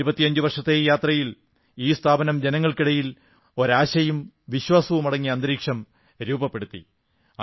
25 വർഷത്തെ ഈ യാത്രയിൽ ഈ സ്ഥാപനം ജനങ്ങൾക്കിടയിൽ ഒരു ആശയും വിശ്വാസവുമടങ്ങിയ അന്തരീക്ഷം രൂപപ്പെടുത്തി